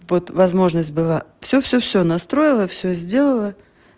вот возможность была всё всё всё настроила всё сделала